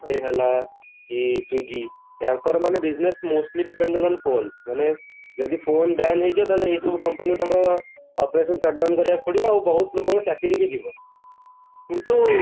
pay ହେଲା କି swiggy ୟାଙ୍କର ମାନେ business mostly dependent on phone ମାନେ ଯଦି phone ban ହେଇଯିବା ଏଇ ସବୁ company ତାଙ୍କ operations shut down କରିବାକୁ ପଡିବ ଆଉ ବହୁତ ଲୋକଙ୍କ ଚାକିରି ବି ଯିବ କିନ୍ତୁ